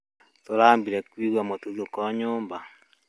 tũrambĩre kũĩgũa mũtũthũko nyũmba